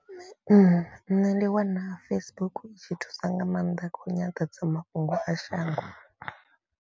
Nṋe ndi wana Facebook i tshi thusa nga maanḓa kha nyanḓadzamafhungo a shango.